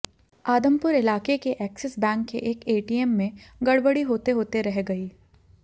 आदमपुर इलाके के Axis Bank के एक एटीएम में गड़बड़ी होते होते रह गयी